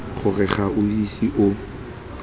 gore ga o ise o